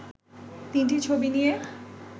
তিনটি ছবি নিয়ে